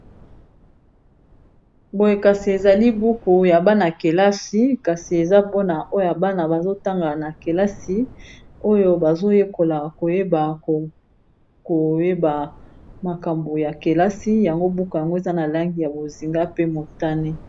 Boye kasi ezali buku ya bana-kelasi kasi eza mpona oyo bana bazotanga na kelasi oyo bazoyekola koyeba koyeba makambo ya kelasi yango buku yango eza na langi ya bozinga pe motane